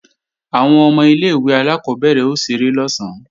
Àwọn ọmọ ilé-ìwé alákọ́bẹ̀rẹ̀ ó ṣeré lọ̀sán